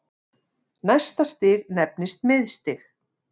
Næsta stig nefnist miðstig.